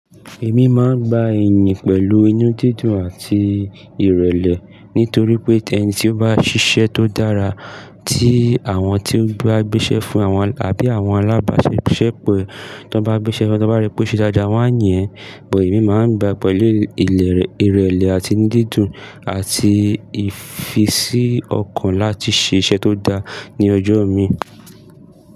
Èmi máa ń gba iyìn pẹ̀lú inú dídùn àti ìrẹ̀lẹ̀ nítorí pé tẹ̀ni tí ó bá ṣiṣẹ́ tó dára tí àwọn tí ó bá gbéṣẹ́ fún àwọn àbí àwọn alábáṣepọ̀ e tí wọ́n bá gbéṣẹ́, tí wọ́n bá rí pé ó ṣe dáadáa, wọ́n á yìn ẹ, but emi máa ń gba pẹ̀lú ilẹ̀ ìrẹ̀lẹ̀ àti inú dídùn àti ìfisí ọkàn láti ṣe iṣẹ́ tó dára ní ọjọ́ mi.